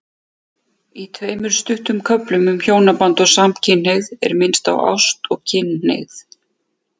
Í tveimur stuttum köflum um hjónaband og samkynhneigð er minnst á ást og kynhneigð.